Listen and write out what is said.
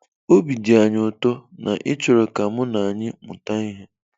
Obi dị anyị ụtọ na ị chọrọ ka mụ na anyị mụta ihe.